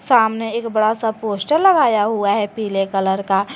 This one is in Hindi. सामने एक बड़ा सा पोस्टर लगाया हुआ है पीले कलर का।